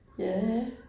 Ja ja